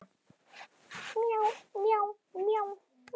Ég fékk aldrei botn í þá för.